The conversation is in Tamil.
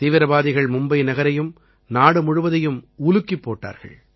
தீவிரவாதிகள் மும்பை நகரையும் நாடு முழுவதையும் உலுக்கிப் போட்டார்கள்